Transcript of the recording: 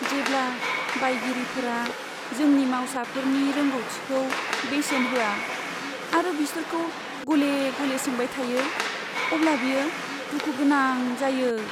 जेब्ला बायगिरिफोरा जोंनि मावसाफोरनि रोंग'थिखौ बेसेन होआ आरो बिसोरखौ गले गले सोंबाय थायो, अब्ला बियो दुखु गोनां जायो।